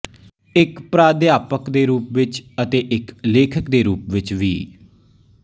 ਇੱਕ ਪਰਾਧਿਆਪਕ ਦੇ ਰੂਪ ਵਿੱਚ ਅਤੇ ਇੱਕ ਲੇਖਕ ਦੇ ਰੂਪ ਵਿੱਚ ਵੀ